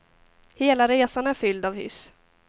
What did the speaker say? Hela resan är fylld av hyss.